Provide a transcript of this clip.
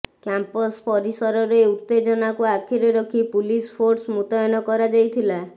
campus ପରିସରରେ ଉତେଜନାକୁ ଆଖିରେ ରଖି ପୁଲିସ ଫୋର୍ସ ମୁତୟନ କରାଯାଇଥିଲା